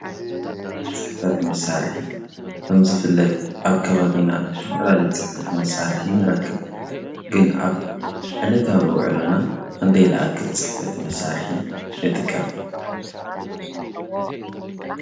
ፅሕፈት መሳርሒ ከም ዝፍለጥ ኣብ ከባቢና ዝተፈላለዩ ፅሕፈት መሳርሒ ንረክብ፡፡ ግን ኣብ ዕለታዊ ውዕሎና ክንደይ ዝኣክል ፅሕፈት መሳርሒ ንጥቀም?